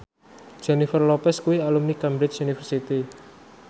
Jennifer Lopez kuwi alumni Cambridge University